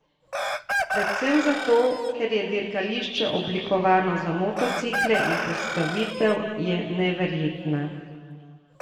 Predvsem zato, ker je dirkališče oblikovano za motocikle in postavitev je neverjetna.